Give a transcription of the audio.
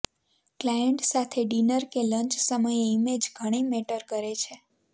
client સાથે dinner કે lunch સમયે ઇમેજ ઘણી મેટર કરે છે